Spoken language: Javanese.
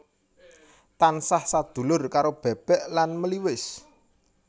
Tansah sadulur karo bebek lan meliwis